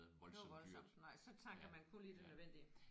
Det var voldsomt nej så tanker man kun lige det nødvendige